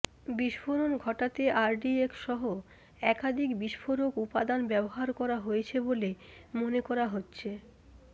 বিস্ফোরণ ঘটাতে আরডিএক্স সহ একাধিক বিস্ফোরক উপাদান ব্যবহার করা হয়েছে বলে মনে করা হচ্ছে